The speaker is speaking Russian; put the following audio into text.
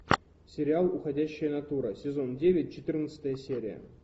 сериал уходящая натура сезон девять четырнадцатая серия